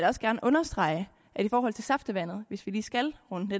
også gerne understrege i forhold til saftevandet hvis vi lige skal runde